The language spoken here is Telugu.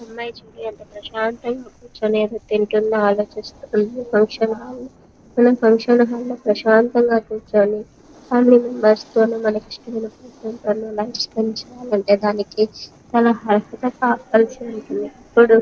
ఈ అమ్మాయి చూడు ఎంత ప్రశాతంగా కూర్చుని తింటుందో ఆలోచిస్తుందో ఫంక్షన్ హల్లో మనం ఫంక్షన్ హాల్లో ప్రశాంతంగా కూర్చొని ఫామిలీ మెంబెర్స్ తోను మనకిష్టమైన పర్సన్ తోను లైఫ్ స్పెండ్ చేయాలంటే దానికి చాలా --